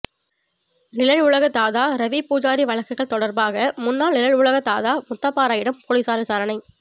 நிழல் உலக தாதா ரவி பூஜாரி வழக்குகள் தொடா்பாக முன்னாள் நிழல் உலக தாதா முத்தப்பாராயிடம் போலீஸாா் விசாரணை